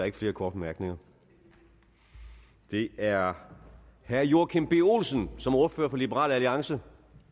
ikke flere korte bemærkninger det er herre joachim b olsen som ordfører for liberal alliance